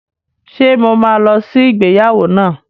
Ṣe mo ma lọ sí ìgbéyàwó náà?